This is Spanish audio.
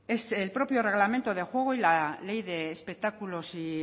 el propio reglamento de juego y la ley de espectáculos y